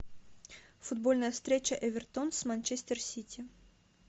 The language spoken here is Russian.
футбольная встреча эвертон с манчестер сити